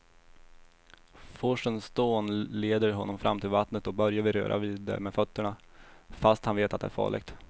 Forsens dån leder honom fram till vattnet och Börje vill röra vid det med fötterna, fast han vet att det är farligt.